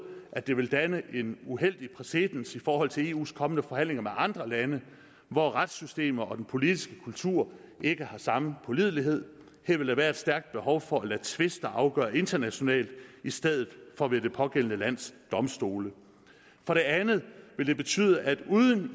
at det vil danne en uheldig præcedens i forhold til eus kommende forhandlinger med andre lande hvor retssystemerne og den politiske kultur ikke har samme pålidelighed her vil der være et stærkt behov for at lade tvister afgøre internationalt i stedet for ved det pågældende lands domstole for det andet vil det betyde at uden